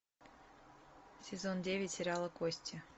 сезон девять сериала кости